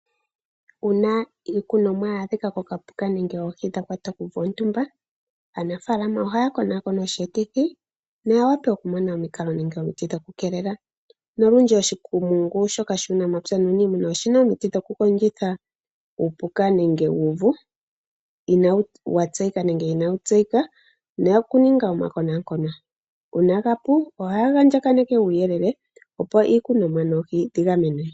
Uuna iikunomwa ya adhika koka puka, nenge komukithi gwontumba, aanafaalama oha ya konakona osheetithi, ya wape oku mona omikalo nenge omiti, dho ku keelela, nolundji oshikumungu shoka shuunamapya nuuniimuna oshina omiti dho ku kondjitha uupuka nenge uuvu, uuna wa tseyika nenge ina wu yseyika, noku ninga omakonakono, uuna ga pu, oha ya andjaganeke uuyelele opo iilunomwa noohi dhi gamenwe.